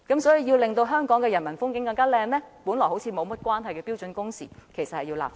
所以，如要令香港的人民風景更美，便有必要就看似毫無關連的標準工時立法。